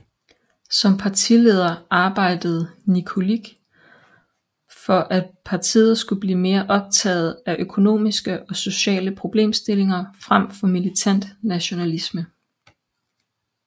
Som partileder arbejdede Nikolić for at partiet skulle blive mere optaget af økonomiske og sociale problemstillinger frem for militant nationalisme